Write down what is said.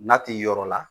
N'a ti yɔrɔ la